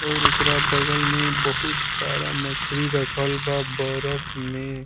अउर एकरा बगल में बहुत सारा मछरी रखल बा बर्फ में।